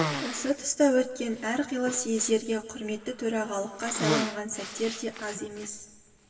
осы тұста өткен әр қилы съездерге құрметті төрағалыққа сайланған сәттері де аз емес